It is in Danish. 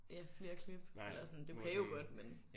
Ja flere klip eller sådan du kan jo godt men